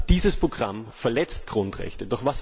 Dieses Programm verletzt Grundrechte.